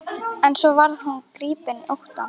En svo varð hún gripin ótta.